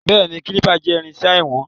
Béèní, Kálìpà jẹ́ irinṣẹ́ ìwọ̀n.